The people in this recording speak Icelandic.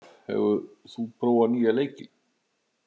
Olaf, hefur þú prófað nýja leikinn?